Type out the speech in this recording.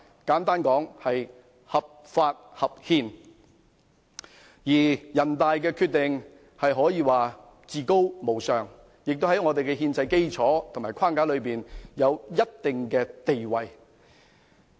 簡單來說，它既合法，亦合憲，而人大常委會的決定可說是至高無上，並在香港的憲制基礎和框架內有一定的地位。